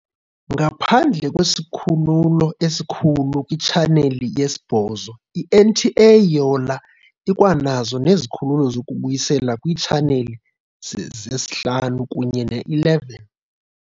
Ngaphandle kwesikhululo esikhulu kwitshaneli yesi-8, I-NTA Yola ikwanazo nezikhululo zokubuyisela kwiitshaneli ze-5 kunye ne-11.